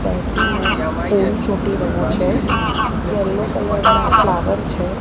બેસીને ફૂલ ચોટી રહ્યા છે યલો કલર ના ફલાવર છે.